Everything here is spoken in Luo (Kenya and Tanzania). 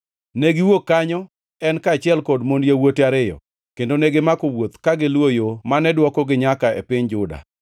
Ne giwuok kanyo, en kaachiel gi mond yawuote ariyo, kendo negimako wuoth ka giluwo yo mane dwokogi nyaka e piny Juda.